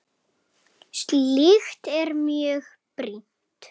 Slíkt er mjög brýnt.